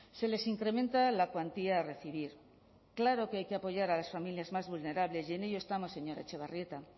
se les incrementa la cuantía a recibir claro que hay que apoyar a las familias más vulnerables y en ello estamos señora etxebarrieta